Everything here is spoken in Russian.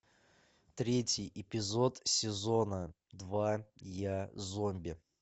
третий эпизод сезона два я зомби